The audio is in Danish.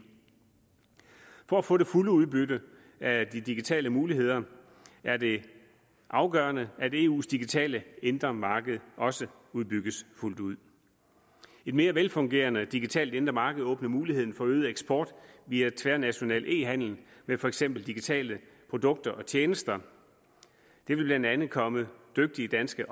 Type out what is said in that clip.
for at få det fulde udbytte af de digitale muligheder er det afgørende at eus digitale indre marked også udbygges fuldt ud et mere velfungerende digitalt indre marked åbner muligheden for øget eksport via tværnational e handel med for eksempel digitale produkter og tjenester det vil blandt andet komme dygtige danske